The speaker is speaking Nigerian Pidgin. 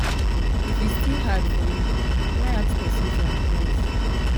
if e still hard for yu try ask pesin for advice